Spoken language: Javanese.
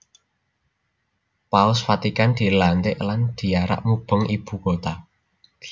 Paus Vatikan dilantik lan diarak mubeng ibu kota